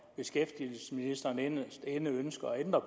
at beskæftigelsesministeren inderst inde ønsker at ændre